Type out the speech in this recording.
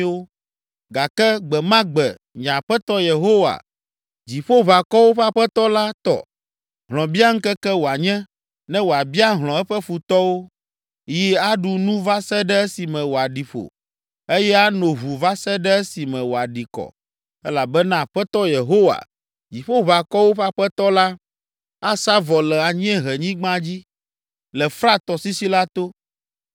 Gake gbe ma gbe nye Aƒetɔ Yehowa, Dziƒoʋakɔwo ƒe Aƒetɔ la tɔ, hlɔ̃biaŋkeke wòanye, ne wòabia hlɔ̃ eƒe futɔwo. Yi aɖu nu va se ɖe esime wòaɖi ƒo eye ano ʋu va se ɖe esi me wòaɖi kɔ elabena Aƒetɔ Yehowa, Dziƒoʋakɔwo ƒe Aƒetɔ la, asa vɔ le anyiehenyigba dzi, le Frat tɔsisi la to.